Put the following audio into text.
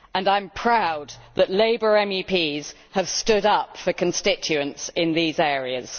I am proud that Labour MEPs have stood up for constituents in these areas.